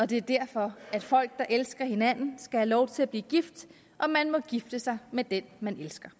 det er derfor at folk der elsker hinanden skal have lov til at blive gift og man må gifte sig med den man elsker